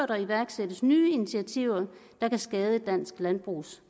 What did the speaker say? der iværksættes nye initiativer der kan skade dansk landbrugs